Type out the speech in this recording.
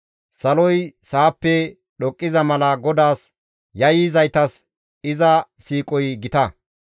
Saloy sa7appe dhoqqiza mala GODAAS yayyizaytas iza siiqoy gita.